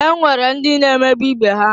E nwere ndị na emegbu ibe ha.